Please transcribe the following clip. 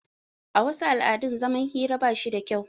A wasu al'adun zaman hira bashi da kyau